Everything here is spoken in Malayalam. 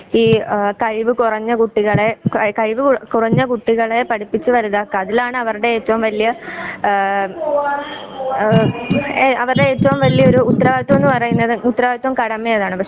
ഈ ആ കഴിവ് കുറഞ്ഞ കുട്ടികളെ ആ കഴിവ് കുറഞ്ഞ കുട്ടികളെ പഠിപ്പിച്ചു വലുതാക്കുവാ അതിലാണ് അവരുടെ ഏറ്റവും വലിയ ഉത്തരവാദിത്വം എന്നുപറയുന്നത്. ഉത്തരവാദിത്തവും കടമയും അതാണ്.